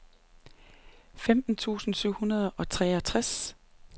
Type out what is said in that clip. femten tusind syv hundrede og treoghalvtreds